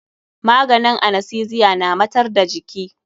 Maganin anastesiya na matar da jiki.